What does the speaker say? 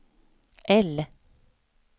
L